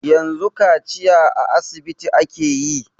Yanzu kaciya a asibiti ake yi.